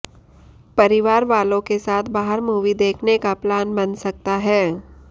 परिवार वालों के साथ बाहर मूवी देखने का प्लान बन सकता है